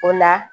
O la